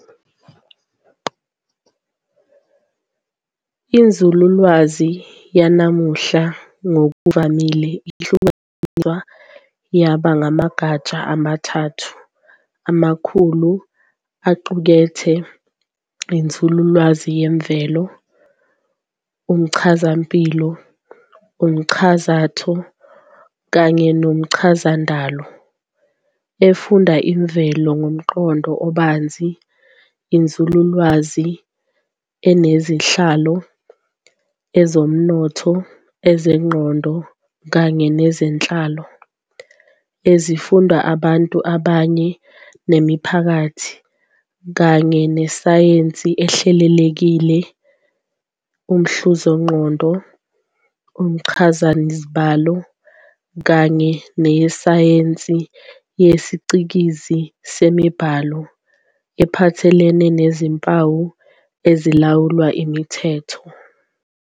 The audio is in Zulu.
Inzululwazi yanamuhla ngokuvamile ihlukaniswe yaba amagatsha amathathu amakhulu aqukethe inzululwazi yemvelo, isib, umchazampilo, umchazatho, kanye nomchazandalo, efunda imvelo ngomqondo obanzi, inzululwazi yezenhlalo, isib, Ezomnotho, ezengqondo, kanye nezenhlalo, ezifunda abantu ngabanye nemiphakathi, kanye nesayensi ehlelekile, isib. umhluzaqondo, umchazazibalo, kanye nesayensi yesiCikizi semibhalo, ephathelene nezimpawu ezilawulwa yimithetho.